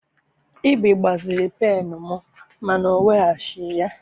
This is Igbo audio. Ibe gbaziri pennụ m mana ọ weghachighi ya.